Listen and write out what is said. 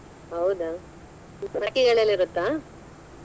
ಹೌದಾ ಯಲ್ಲೆಲ್ಲ ಇರುತ್ತಾ?